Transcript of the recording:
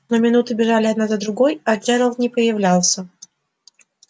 но минуты бежали одна за другой а джералд не появлялся